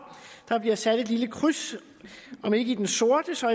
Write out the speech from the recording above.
der bliver sat et lille kryds om ikke i den sorte så